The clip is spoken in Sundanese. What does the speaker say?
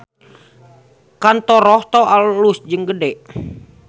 Kantor Rohto alus jeung gede